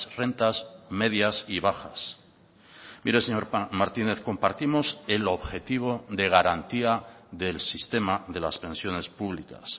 rentas medias y bajas mire señor martínez compartimos el objetivo de garantía del sistema de las pensiones públicas